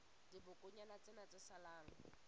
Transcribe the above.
la dibokonyana tsena tse salang